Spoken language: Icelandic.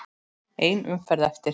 Ein umferð eftir.